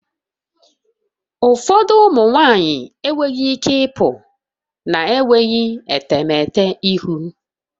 Ụfọdụ ụmụ nwanyị enweghị ike ịpụ na-enweghị etemeete ihu